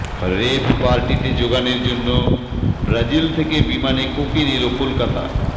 রেভ পার্টিতে জোগানের জন্য ব্রাজিল থেকে বিমানে কোকেন এল কলকাতায়